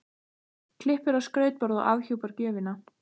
Klippir á skrautborða og afhjúpar gjöfina.